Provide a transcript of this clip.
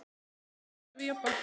Hvernig horfir þetta við Jobba?